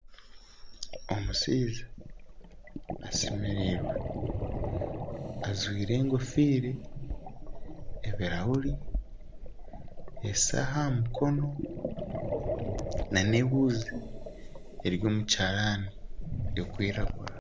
Omushaija ashemerirwe ajwire enkofiira, ebirahuri, eshaaha aha mukono na ehuuzi eri omu kiharani erikwiragura